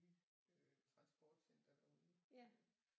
Øh transportcenter derude